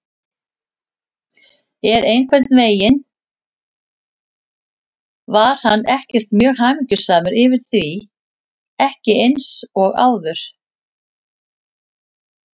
En einhvern veginn var hann ekkert mjög hamingjusamur yfir því, ekki eins og áður.